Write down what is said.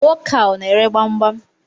Nwoke a, ọ na ere gbamgbam?